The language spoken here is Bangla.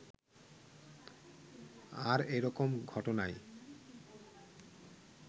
আর এরকম ঘটনায়